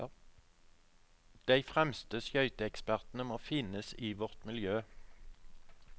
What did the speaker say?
De fremste skøyteekspertene må finnes i vårt miljø.